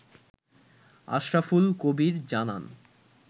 আশরাফুল কবির জানান